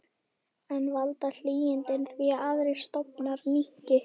En valda hlýindin því að aðrir stofnar minnki?